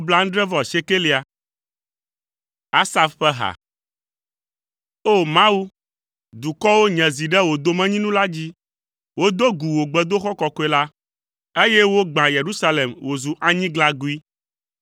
Asaf ƒe ha. O! Mawu, dukɔwo nye zi ɖe wò domenyinu la dzi, wodo gu wò gbedoxɔ kɔkɔe la, eye wogbã Yerusalem wòzu anyiglagoe.